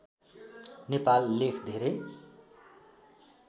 नेपाल लेख धेरै